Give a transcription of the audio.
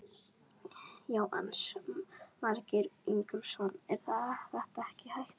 Jónas Margeir Ingólfsson: Er þetta ekkert hættulegt?